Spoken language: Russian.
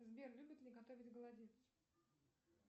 сбер любит ли готовить голодец